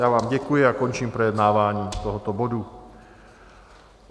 Já vám děkuji a končím projednávání tohoto bodu.